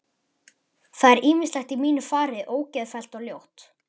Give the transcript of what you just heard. Það er ýmislegt í mínu fari ógeðfellt og ljótt.